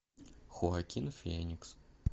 хоакин феникс